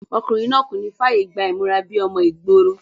ọkùnrin náà kò ní fàyè gba ìmúra bíi ọmọ ìgboro